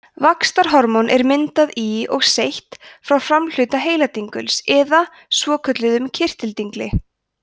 vaxtarhormón er myndað í og seytt frá framhluta heiladinguls eða svokölluðum kirtildingli